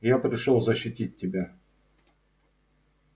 я пришёл защитить тебя